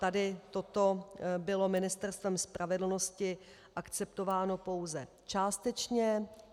Tady toto bylo Ministerstvem spravedlnosti akceptováno pouze částečně.